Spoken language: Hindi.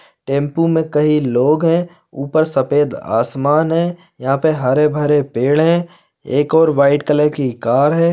टेम्पू में कई लोग है ऊपर सफेद आसमान है यहाँ पर हरे-भरे पेड़ है एक और वाइट कलर की कार है।